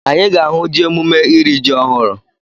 Anyị ga-ahụ ji emume iri ji ọhụrụ.